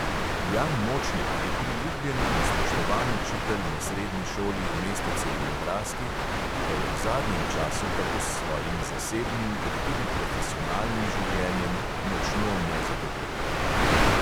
Jan močnik je priljubljen in spoštovan učitelj na srednji šoli v mestecu v nebraski, ki pa je v zadnjem času tako s svojim zasebnim kot tudi profesionalnim življenjem močno nezadovoljen.